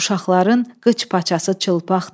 Uşaqların qıç paçası çılpaqdı.